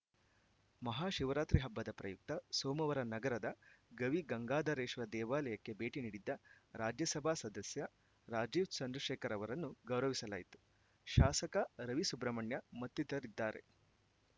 ಮಹಾಶಿವರಾತ್ರಿ ಹಬ್ಬದ ಪ್ರಯುಕ್ತ ಸೋಮವಾರ ನಗರದ ಗವಿಗಂಗಾಧರೇಶ್ವರ ದೇವಾಲಯಕ್ಕೆ ಭೇಟಿ ನೀಡಿದ್ದ ರಾಜ್ಯಸಭಾ ಸದಸ್ಯ ರಾಜೀವ್‌ ಚಂದ್ರಶೇಖರ್‌ ಅವರನ್ನು ಗೌರವಿಸಲಾಯಿತು ಶಾಸಕ ರವಿಸುಬ್ರಹ್ಮಣ್ಯ ಮತ್ತಿತರರಿದ್ದಾರೆ